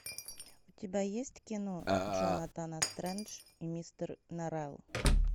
у тебя есть кино джонатан стрендж и мистер норрелл